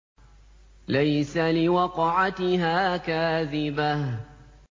لَيْسَ لِوَقْعَتِهَا كَاذِبَةٌ